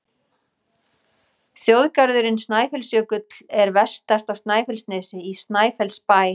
Þjóðgarðurinn Snæfellsjökull er vestast á Snæfellsnesi, í Snæfellsbæ.